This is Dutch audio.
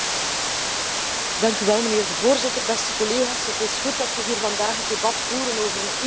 Voorzitter, beste collega's, het is goed dat we hier vandaag het debat voeren over een universele gezondheidszorg.